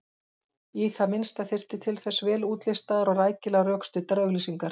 Í það minnsta þyrfti til þess vel útlistaðar og rækilega rökstuddar auglýsingar.